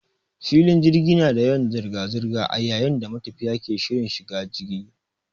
Filin jirgi na da yawan zirga zirga a yayin da matafiya ke shirin shiga jigi.